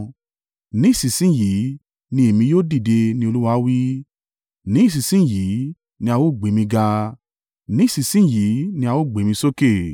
“Ní ìsinsin yìí ni èmi yóò dìde,” ni Olúwa wí. “Ní ìsinsin yìí ni a ó gbé mi ga, ní ìsinsin yìí ni a ó gbé mi sókè.